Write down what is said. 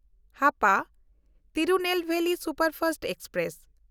Hapa Tirunelveli superfast express